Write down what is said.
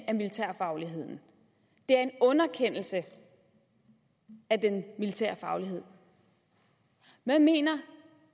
af militær faglighed at det er en underkendelse af den militære faglighed hvad mener